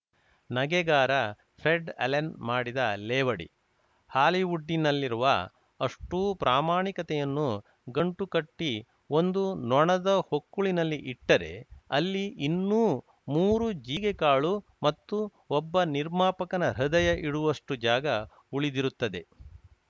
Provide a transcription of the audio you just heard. ನಗೆಗಾರ Fred Allen ಮಾಡಿದ ಲೇವಡಿ ಹಾಲಿವುಡ್ಡಿನಲ್ಲಿರುವ ಅಷ್ಟೂಪ್ರಾಮಾಣಿಕತೆಯನ್ನು ಗಂಟು ಕಟ್ಟಿಒಂದು ನೊಣದ ಹೊಕ್ಕುಳಿನಲ್ಲಿ ಇಟ್ಟರೆ ಅಲ್ಲಿ ಇನ್ನೂ ಮೂರು ಜೀರಿಗೆ ಕಾಳು ಮತ್ತು ಒಬ್ಬ ನಿರ್ಮಾಪಕನ ಹೃದಯ ಇಡುವಷ್ಟುಜಾಗ ಉಳಿದಿರುತ್ತದೆ